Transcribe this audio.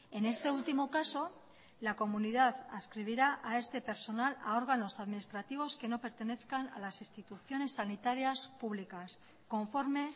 en este último caso la comunidad adscribirá a este personal a órganos administrativos que no pertenezcan a las instituciones sanitarias públicas conforme